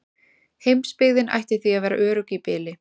Heimsbyggðin ætti því að vera örugg í bili.